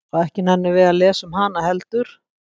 Og ekki nennum við að lesa um hana heldur?